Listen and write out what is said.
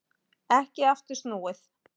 Ekki aftur snúið